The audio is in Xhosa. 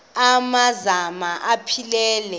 amanka zana aphilele